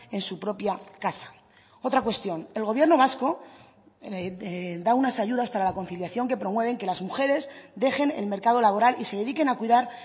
en su propia casa otra cuestión el gobierno vasco da unas ayudas para la conciliación que promueven que las mujeres dejen el mercado laboral y se dediquen a cuidar